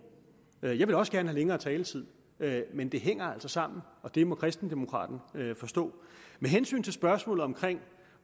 jeg ville også gerne længere taletid men det hænger altså sammen og det må kristendemokraten forstå med hensyn til spørgsmålet om